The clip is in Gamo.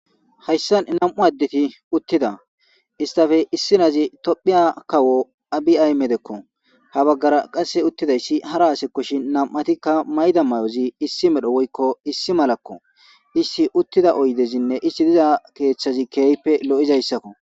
hayssan nam7u addeti uttida istafe issinazi tophiya kawo abiay ayimedekko ha baggara qasse uttidayssi hara asekkoshin nam7atikka mayda mayozi issi medho woykko issi malakko issiti uttida oydezinne issti diza keeththazi keehpe lo7izayssakko.